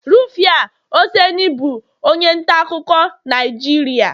Rufia oseni bụ onye nta akụkọ Naijiria